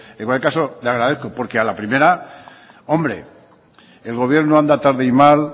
en cualquier caso le agradezco porque a la primera el gobierno anda tarde y mal